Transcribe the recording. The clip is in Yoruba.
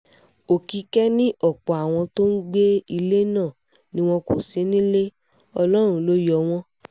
òkìkẹ̀ ni ọ̀pọ̀ àwọn tí wọ́n ń gbé ilẹ̀ náà ni wọn kò sí nílé ọlọ́run ló yọ wọ́n